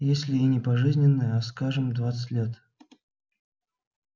если и не пожизненное а скажем двадцать лет